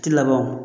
Ti laban wo